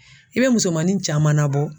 I bɛ musomanin caman nabɔ.